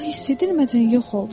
O hiss edilmədən yox oldu.